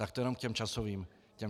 Tak to jen k těm časovým údajům.